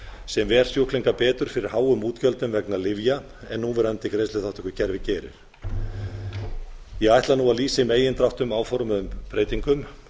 sem ver sjúkling bætir fyrir háum útgjöldum vegna lyfja en núverandi greiðsluþátttökukerfi gerir ég ætla nú að lýsa í megindráttum áformuðum breytingum